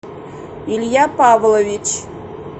илья павлович